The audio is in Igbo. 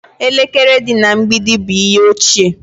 Elekere dị na mgbidi bụ ihe ochie